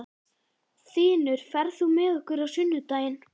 Þinur, ferð þú með okkur á sunnudaginn?